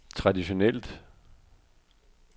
traditionelt